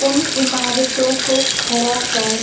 उन इमारतों को खड़ा कर --